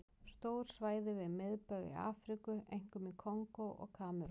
Stór svæði við miðbaug í Afríku, einkum í Kongó og Kamerún.